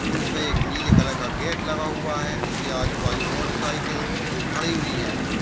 Wurtz में एक नीले कलर का गेट लगा हुआ है इसके आजू बाजू मोटरसाइकिल खड़ी हुई है।